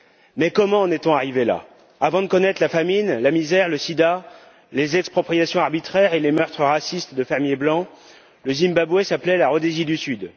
Mais comment en est on arrivé là? Avant de connaître la famine, la misère, le sida, les expropriations arbitraires et les meurtres racistes de fermiers blancs, le Zimbabwe s'appelait la Rhodésie du Sud.